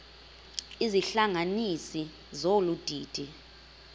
izihlanganisi zolu didi